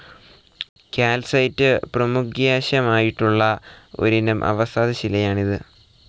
Calcite പ്രമുഖ്യാശമായിട്ടുള്ള ഒരിനം അവസാദശിലയാണിത്.